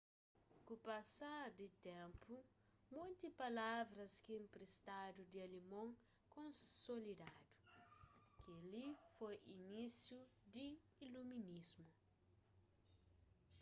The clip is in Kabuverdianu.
ku pasar di ténpu monti palavras ki inpristadu di alemon konsolidadu kel-li foi inisiu di iluminismu